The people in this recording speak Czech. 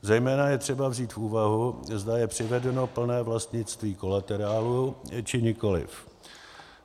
Zejména je třeba vzít v úvahu, zda je přivedeno plné vlastnictví kolaterálu, či nikoliv.